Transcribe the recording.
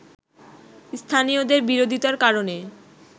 স্থানীয়দের বিরোধিতার কারণে